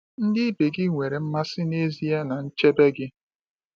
Ndị ibe gị nwere mmasị n’ezie na nchebe gị.